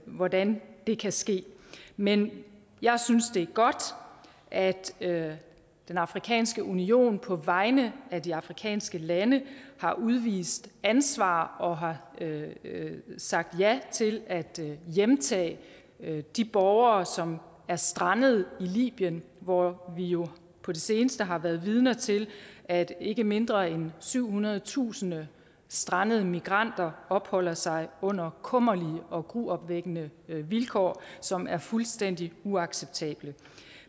hvordan det kan ske men jeg synes det er godt at den afrikanske union på vegne af de afrikanske lande har udvist ansvar og har sagt ja til at hjemtage de borgere som er strandet i libyen hvor vi jo på det seneste har været vidner til at ikke mindre end syvhundredetusind strandede migranter opholder sig under kummerlige og gruopvækkende vilkår som er fuldstændig uacceptable